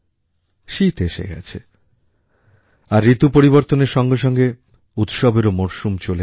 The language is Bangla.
শীত এসে গেছে আর ঋতু পরিবর্তনের সঙ্গে সঙ্গে উৎসবের মরশুমও চলে এলো